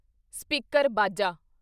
speaker (Baja)